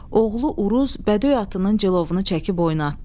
Oğlu Uruz bədöy atının cilovunu çəkib oynadı.